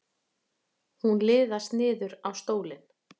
Hún liðast niður á stólinn.